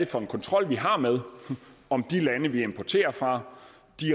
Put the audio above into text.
for en kontrol vi har med om de lande vi importerer fra